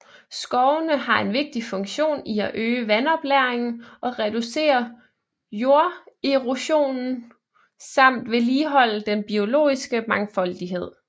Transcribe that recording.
Skovene har en vigtig funktion i at øge vandoplagringen og reducere jorderosion samt vedligeholde den biologiske mangfoldighed